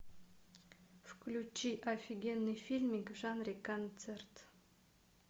включи офигенный фильмик в жанре концерт